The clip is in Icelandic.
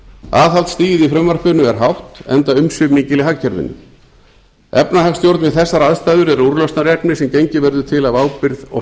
aðhaldsstigið í frumvarpinu er hátt enda umsvif mikil í hagkerfinu efnahagsstjórn við þessar aðstæður eru úrlausnarefni sem gengið verður til af ábyrgð og